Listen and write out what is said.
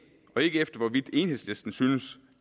og ikke efter hvorvidt enhedslisten synes